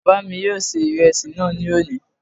Bàbá mi yóò ṣe ìrẹsì náà ní òní